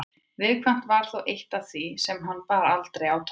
Viðkvæmnin var þó eitt af því sem hann bar aldrei á torg.